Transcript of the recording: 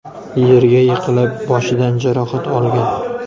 yerga yiqilib, boshidan jarohat olgan.